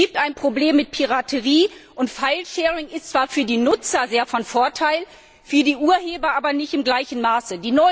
Es gibt ein Problem mit Piraterie, und Filesharing ist zwar für die Nutzer sehr von Vorteil, für die Urheber aber nicht in gleichem Maße.